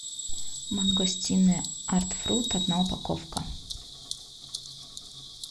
мангостины артфрут одина упаковка